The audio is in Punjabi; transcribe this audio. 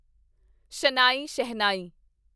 ਸ਼ਨਾਈ ਸ਼ਹਿਨਾਈ